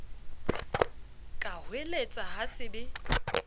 ka hoeletsa ha se be